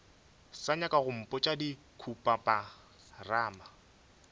sa nyaka go mpotša dikhupamarama